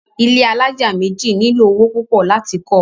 ilé alájà méjì nílò owó púpọ̀ láti kọ́ ọ.